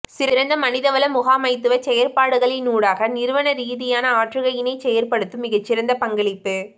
சிறந்த மனிதவள முகாமைத்துவச் செயற்பாடுகளினூடாக நிறுவன ரீதியான ஆற்றுகையினை செயற்படுத்தும் மிகச்சிறந்த பங்களிப்பு